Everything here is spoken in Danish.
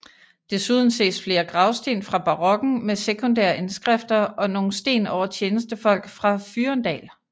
Desuden ses flere gravsten fra barokken med sekundære indskrifter og nogle sten over tjenestefolk fra Fyrendal